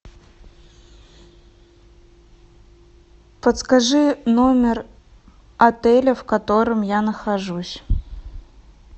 подскажи номер отеля в котором я нахожусь